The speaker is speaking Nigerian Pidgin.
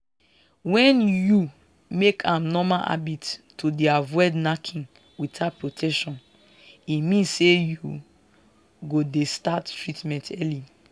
wen you make am normal habit to dey avoid knacking without protection e mean say you go dey start treatment early